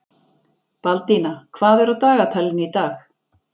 Baldína, hvað er á dagatalinu í dag?